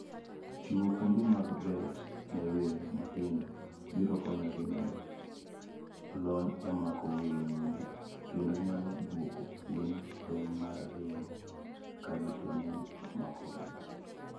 Chiwo kuonde mag bet ne winy matindo biro konyogi medo lony e mako winyo kendo nyalo dwoko chien tem mar ringo ka gitemo mako winyo.